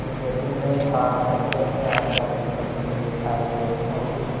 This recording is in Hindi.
यदि मैं आज दफ्तर में आकर अपनी पत्नी के आयव्यय और